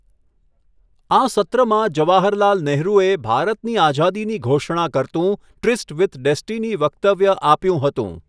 આ સત્રમાં જવાહરલાલ નેહરુએ ભારતની આઝાદીની ઘોષણા કરતું ટ્રીસ્ટ વિથ ડેસ્ટિની વક્તવ્ય આપ્યું હતું.